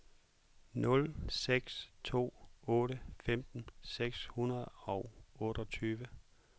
nul seks to otte femten seks hundrede og otteogtyve